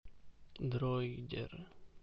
дройдер